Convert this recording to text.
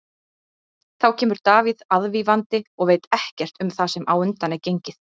Þá kemur Davíð aðvífandi og veit ekkert um það sem á undan er gengið.